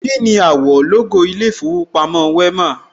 Kíni àwọ̀ lógò ilé ìfowópamọ́ Wema?